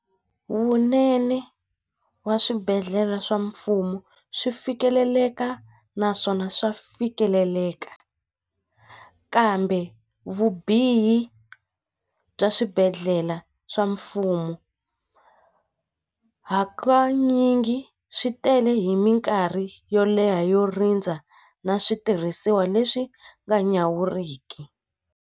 Vunene wa swibedhlele swa mfumo swi fikeleleka naswona swa fikeleleka kambe vubihi bya swi swibedhlele swa mfumo hakanyingi swi tele hi mikarhi yo leha yo rindza na switirhisiwa leswi nga nyawuriki.